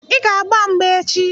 Ị ga-agba mgba echi!